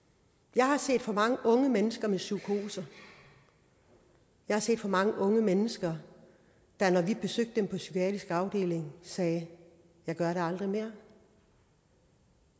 jeg har set for mange unge mennesker med psykoser jeg har set for mange unge mennesker der når vi besøgte dem på psykiatrisk afdeling sagde jeg gør det aldrig mere